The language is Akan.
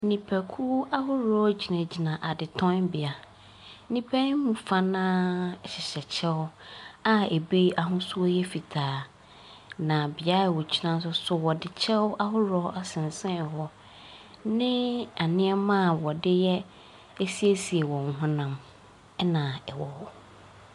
Nipa kow ahorow gyina gyina adi tɔn bia. Nipa yi mu fanaa ɛhyehyɛ kyɛw a ebi ahusuo ɛyɛ fitaa. Na bia wo gyina so so wɔde kyɛw ahorow asensen hɔ ne nneɛma a yɛdi siesie yen honam ɛna ɛwɔ hɔ.